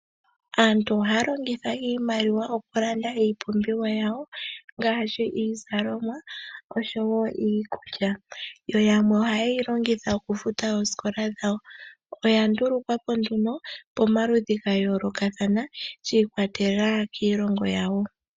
Aantu ohaya longitha iimaliwa oku landa iipumbiwa yawo ngaashi iizalomwa osho wo iikulya. Yo yamwe ohaye yi longitha okufuta oosikola dhawo. Oya ndulukwapo nduno pamaludhi ga yoolokathana shi ikwatelela kiilongo yawo.